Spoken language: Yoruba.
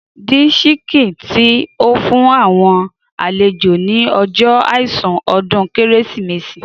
Dín síkìn tí o fún àwọn àlejò ni ọjọ àìsùn ọdún Kérésìmesì.